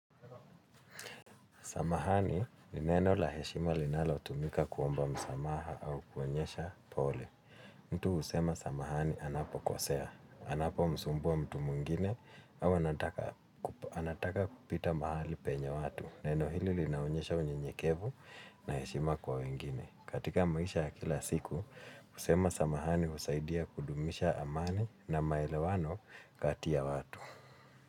Samahani ni neno laheshima linalo tumika kuomba msamaha au kuonyesha pole. Mtu husema Samahani anapo kosea. Anapo msumbua mtu mwingine au anataka kupita mahali penye watu. Neno hili linaonyesha unye nyekevu na heshima kwa wengine. Katika maisha kila siku, usema Samahani usaidia kudumisha amani na maelewano kati ya watu.